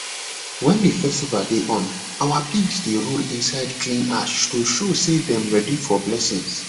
wen the festival dey on our pigs dey roll inside clean ash to show say dem ready for blessings